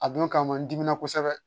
A don kama n dimina kosɛbɛ